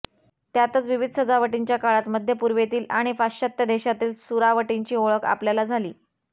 त्यातच विविध राजवटींच्या काळात मध्यपूर्वेतील आणि पाश्चात्त्य देशांतील सुरावटींची ओळख आपल्याला झाली